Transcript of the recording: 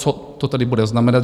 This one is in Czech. Co to tedy bude znamenat?